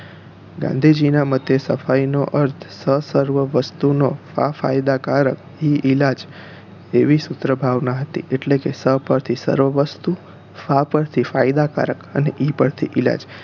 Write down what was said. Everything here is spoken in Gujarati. ગાંધીજી ના મતે સફાઈ નો અર્થ સ~ સર્વ વસ્તુ નો ફા~ ફાયદાકારક ઈ~ ઈલાજ એવી સુત્રભાવના હતી એટલે કે સ પરથી સર્વવસ્તુ ફા પરથી ફાયદા કારક અને ઈ પરથી ઈલાજ